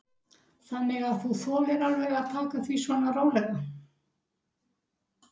Þannig að þú þolir alveg að taka því svona rólega?